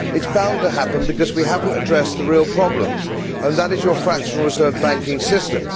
It is bound to happen, because we have not addressed the real problems, and that is the EU's fractional reserve banking system.